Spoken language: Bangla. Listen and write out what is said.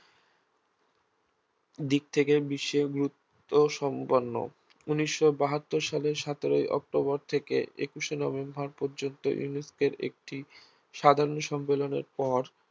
দিক থেকে বিশেষ গুরুত্বসম্পন্ন ঊনিশ বাহাত্তর সালের সতেরই অক্টোবর থেকে একুশে নভেম্বর পর্যন্ত UNESCO একটি সাধারণ সম্মেলনের পর